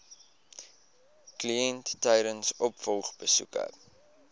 kliënt tydens opvolgbesoeke